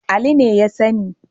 Ali ne ya sani.